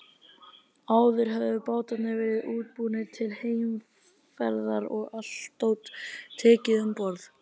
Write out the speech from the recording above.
Áður höfðu bátarnir verið útbúnir til heimferðar og allt dót tekið um borð.